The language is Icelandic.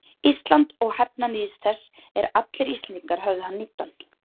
Íslands og hefna níðs þess er allir Íslendingar höfðu hann níddan.